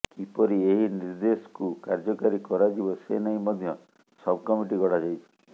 କିପରି ଏହି ନିର୍ଦ୍ଦେଶକୁ କାର୍ଯ୍ୟକାରୀ କରାଯିବ ସେ ନେଇ ମଧ୍ୟ ସବକମିଟି ଗଢ଼ାଯାଇଛି